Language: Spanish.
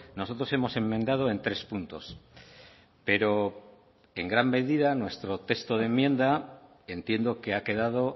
nosotros hemos enmendado en tres puntos pero en gran medida nuestro texto de enmienda entiendo que ha quedado